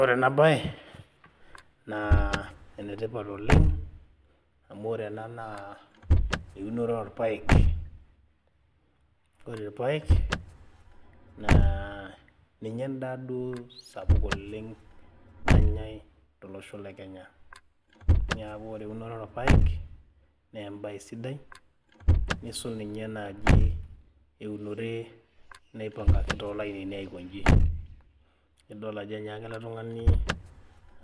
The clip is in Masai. Ore ena naa enetipat oleng amu ore ena naa eunoto orpayek ore irpayek naa ninye endaa duo sapuk oleng nanyae tolosho le kenya niaku ore eunoto orpayek naa embaye sidai nisul ninye naaji eunore naipangaki tolainini aikonji nidol ajo enyaaka ele tung'ani